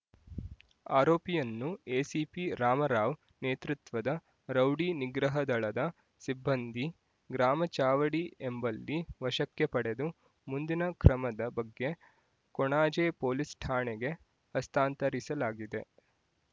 ಆರೋಪಿಯನ್ನು ಎಸಿಪಿ ರಾಮರಾವ್ ನೇತೃತ್ವದ ರೌಡಿ ನಿಗ್ರಹ ದಳದ ಸಿಬ್ಬಂದಿ ಗ್ರಾಮ ಚಾವಡಿ ಎಂಬಲ್ಲಿ ವಶಕ್ಕೆ ಪಡೆದು ಮುಂದಿನ ಕ್ರಮದ ಬಗ್ಗೆ ಕೊಣಾಜೆ ಪೊಲೀಸ್ ಠಾಣೆಗೆ ಹಸ್ತಾಂತರಿಸಲಾಗಿದೆ